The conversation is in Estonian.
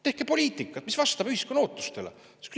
Tehke poliitikat, mis vastab ühiskonna ootustele!